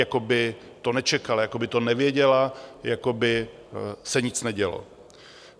Jako by to nečekala, jako by to nevěděla, jako by se nic nedělo.